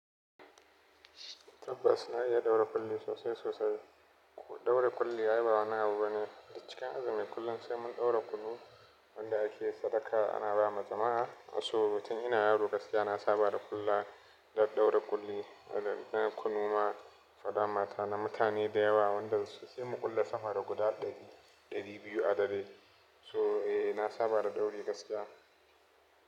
Tabbas na iya ɗaura ƙulli sosai sosai. Ɗaura ƙulli ai ba wani abu bane. A cikin azumi kullum sai mun ɗaura kunu wanda ake sadaka ana bawa jama'a. So batun ina yawo gaskiya na saba da ƙulla dadɗaura ƙulli na kunu ma balle na mutane da yawa wanda sai muƙulle sama da guda ɗari, ɗari biyu adare. So eh na saba da ɗauri gaskiya.